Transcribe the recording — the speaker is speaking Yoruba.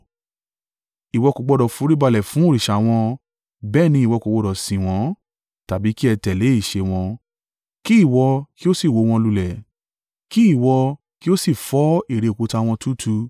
Ìwọ kò gbọdọ̀ foríbalẹ̀ fún òrìṣà wọn, bẹ́ẹ̀ ni, ìwọ kò gbọdọ̀ sìn wọ́n, tàbí kí ẹ tẹ̀lé ìṣe wọn. Kí ìwọ kí ó si wó wọn lulẹ̀, kí ìwọ kí ó sì fọ́ ère òkúta wọ́n túútúú.